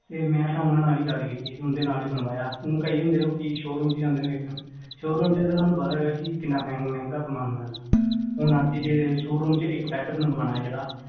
ਮੈ ਤੇ ਉਹਨਾਂ ਨਾਲ ਈ ਗੱਲ ਕੀਤੀ ਓਹਨਾ ਦੇ ਨਾਲ ਈ ਬਣਵਾਇਆ ਊ ਕਈ ਹੁੰਦਿਆਂ ਲੋਕੀ ਸ਼ੋਅਰੂਮ ਚ ਜਾਂਦਿਆ ਵੇਖਣ ਸ਼ੋਅਰੂਮ ਚ ਤੁਹਾਨੂੰ ਪਤਾ ਕਿਹਨਾਂ ਮਹਿੰਗਾ ਸਾਮਾਨ ਮਿਲਦਾ ਹੁਣ ਆਖੀ ਜੇ ਸ਼ੋਅਰੂਮਚ ਇੱਕ ਬੈਡ ਬਨਵਾਣਾ ਜਿਹੜਾ